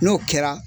N'o kɛra